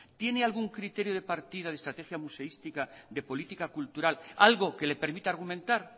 tiene algún criterio de partida de estrategia museística de política cultural algo que le permita argumentar